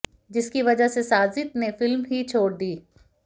जिसकी वजह से साजिद ने फिल्म ही छोड़ दी